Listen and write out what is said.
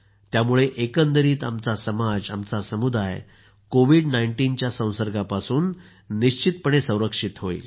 त्यामुळे एकंदरीत आमचा समाज आमचा समुदाय कोविड19 संसर्गापासून संरक्षित होईल